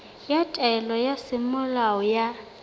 ya taelo ya semolao ya